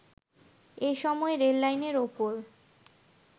এসময় রেললাইনের ওপর